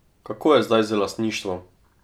Kako je zdaj z lastništvom?